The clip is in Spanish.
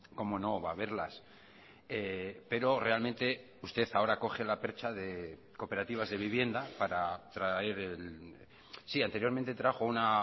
cómo no va a haberlas pero realmente usted ahora coge la percha de cooperativas de vivienda para traer el sí anteriormente trajo una